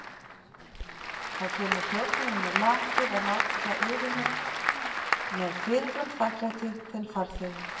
Þá kemur þjónninn með lakið að láta yfir mig með fyrirfram þakklæti þinn farþegi.